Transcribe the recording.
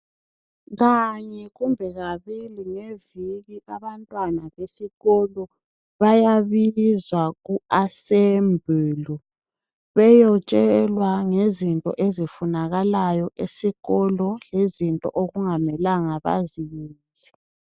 Kanye kumbe kabili ngeviki abantwana besikolo bayabizwa ku"Assembly" beyotshelwa ngezinto ezifunakalayo esikolo lezinto okungamelanga baziyenze.